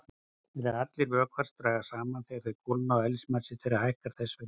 Nær allir vökvar dragast saman þegar þeir kólna og eðlismassi þeirra hækkar þess vegna.